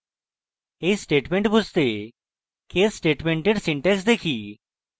এই statement বুঝতে case স্টেটমেন্টের syntax দেখি